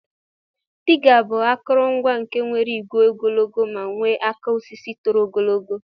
Diga bu akọrọ ngwa nke nwere igwe ogologo ma nwee aka osisi toro ogologo.